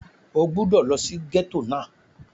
O gbúdọ̀ lọ sí gẹ́tò náà!